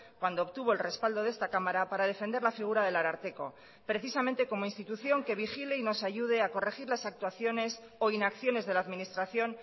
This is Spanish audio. cuando obtuvo el respaldo de esta cámara para defender la figura del ararteko precisamente como institución que vigile y nos ayude a corregir las actuaciones o inacciones de la administración